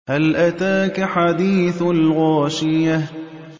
هَلْ أَتَاكَ حَدِيثُ الْغَاشِيَةِ